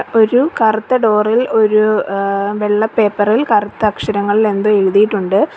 ഒരു കറുത്ത ഡോർ ഇൽ ഒരു ആ വെള്ള പേപ്പർ ഇൽ കറുത്ത അക്ഷരങ്ങളിൽ എന്തോ എഴുതിയിട്ടുണ്ട്.